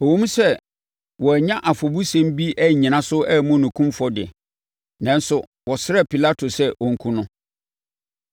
Ɛwom sɛ wɔannya afɔbusɛm bi annyina so ammu no kumfɔ de, nanso wɔsrɛɛ Pilato sɛ ɔnkum no.